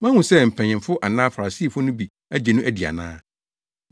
Moahu sɛ mpanyimfo anaa Farisifo no bi agye no adi ana?